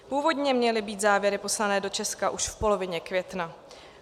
Původně měly být závěry poslané do Česka už v polovině května.